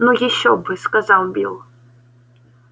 ну ещё бы сказал билл